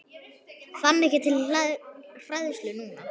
Fann ekki til hræðslu núna.